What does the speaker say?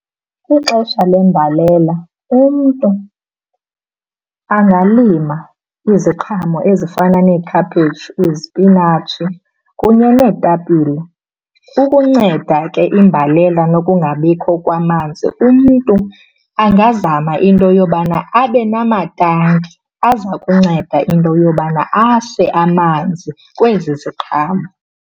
Kwixesha lembalela, umntu angalima iziqhamo ezifana neekhaphetshu, izipinatshi kunye neetapile. Ukunceda ke imbalela nokungabikho kwamanzi, umntu angazama into yobana abe namatanki aza kunceda into yobana ase amanzi kwezi ziqhamo.